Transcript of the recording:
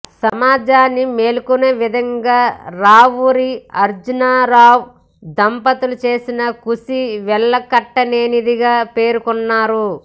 సమాజాన్ని మేల్కొనే విధంగా రావూరి అర్జునరావు దంపతులు చేసిన కృషి వెలకట్టలేనిదిగా పేర్కొన్నారు